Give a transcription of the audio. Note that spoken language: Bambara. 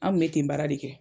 An kun bɛ ten baara de kɛ.